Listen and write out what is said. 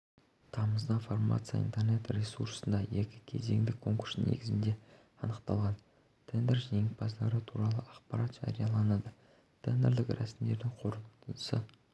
тамызда фармация интернет-ресурсында екі кезеңдік конкурс негізінде анықталған тендер жеңімпаздары туралы ақпарат жарияланады тендерлік рәсімдердің қорытындысы